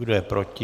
Kdo je proti?